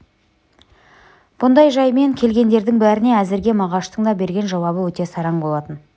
бұндай жаймен келгендердің бәріне әзірге мағаштың да берген жауабы өте сараң болатын